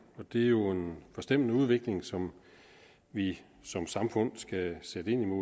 det er jo en forstemmende udvikling som vi som samfund skal sætte ind